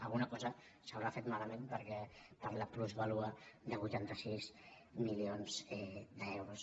alguna cosa s’haurà fet malament per la plusvàlua de vuitanta sis milions d’euros